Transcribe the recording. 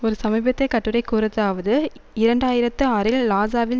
ஒரு சமீபத்தியக் கட்டுரை கூறுவதாவது இரண்டு ஆயிரத்தி ஆறில் லாசாவில்